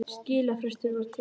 Skilafrestur var til